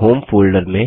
home folder में